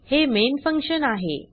हे main function आहे